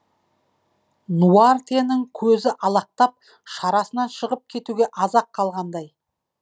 нуартьенің көзі алақтап шарасынан шығып кетуге аз ақ қалғандай